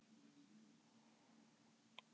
Nú, hver er það?